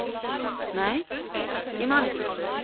nei, ég man ekki